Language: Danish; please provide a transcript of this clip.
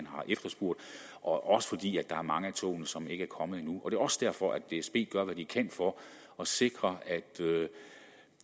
har efterspurgt og fordi der er mange af togene som ikke er kommet endnu det er også derfor at dsb gør hvad de kan for at sikre at